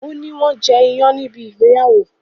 o ní wón jẹ iyán níbi ìgbéyàwó.